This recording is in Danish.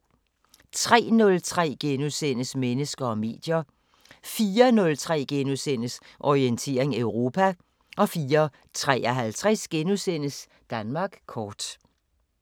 03:03: Mennesker og medier * 04:03: Orientering Europa * 04:53: Danmark kort *